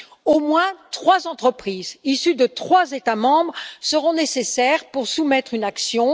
Au moins trois entreprises issues de trois États membres seront nécessaires pour soumettre une action.